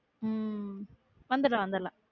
உம் உம் வந்துரலாம் வந்துரலாம்